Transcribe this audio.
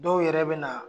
Dɔw yɛrɛ bɛ na